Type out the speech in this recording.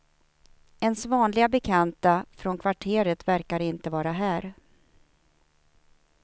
Ens vanliga bekanta från kvarteret verkade inte vara här.